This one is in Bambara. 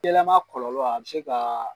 Yɛlɛma kɔlɔlɔ a bi se ka.